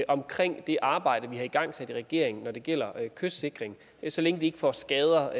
omkring det arbejde vi har igangsat i regeringen når det gælder kystsikring så længe vi ikke får skader